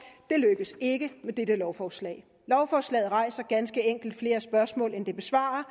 det lykkes ikke med dette lovforslag lovforslaget rejser ganske enkelt flere spørgsmål end det besvarer